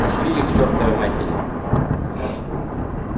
пошли их к чёртовой матери